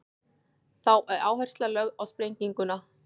þá er áhersla lögð á sprenginguna